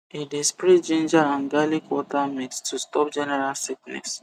e dey spray ginger and garlic water mix to stop general sickness